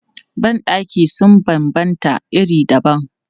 Ban ɗaki sun banbanta iri dabam.